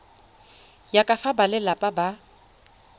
ya ka fa balelapa ba